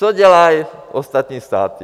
Co dělají ostatní státy?